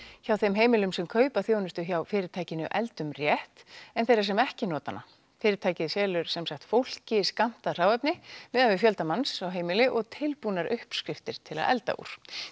hjá þeim heimilum sem kaupa þjónustu hjá fyrirtækinu eldum rétt en þeirra sem ekki nota hana fyrirtækið selur fólki skammtað hráefni miðað við fjölda manns á heimili og tilbúnar uppskriftir til að elda úr